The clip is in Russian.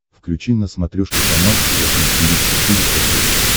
включи на смотрешке канал фэшн ти ви четыре ка